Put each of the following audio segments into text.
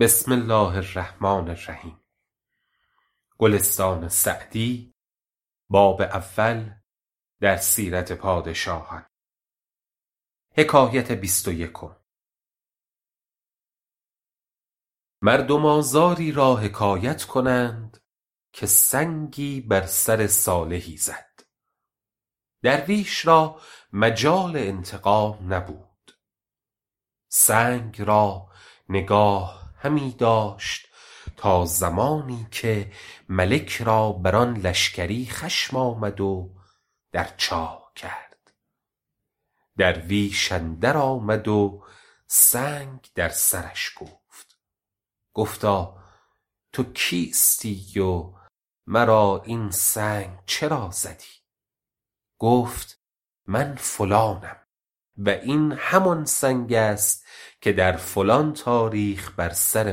مردم آزاری را حکایت کنند که سنگی بر سر صالحی زد درویش را مجال انتقام نبود سنگ را نگاه همی داشت تا زمانی که ملک را بر آن لشکری خشم آمد و در چاه کرد درویش اندر آمد و سنگ در سرش کوفت گفتا تو کیستی و مرا این سنگ چرا زدی گفت من فلانم و این همان سنگ است که در فلان تاریخ بر سر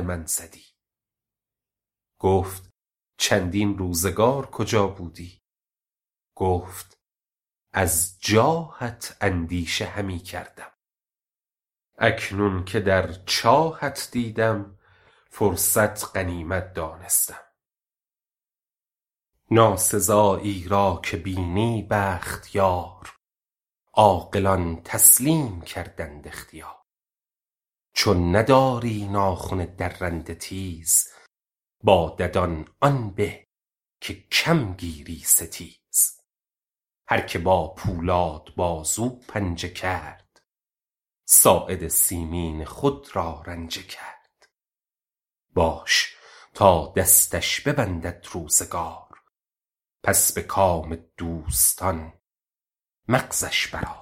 من زدی گفت چندین روزگار کجا بودی گفت از جاهت اندیشه همی کردم اکنون که در چاهت دیدم فرصت غنیمت دانستم ناسزایی را که بینی بخت یار عاقلان تسلیم کردند اختیار چون نداری ناخن درنده تیز با ددان آن به که کم گیری ستیز هر که با پولاد بازو پنجه کرد ساعد مسکین خود را رنجه کرد باش تا دستش ببندد روزگار پس به کام دوستان مغزش بر آر